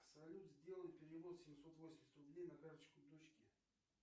салют сделай перевод семьсот восемьдесят рублей на карточку дочки